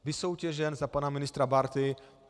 Vysoutěžen za pana ministra Bárty!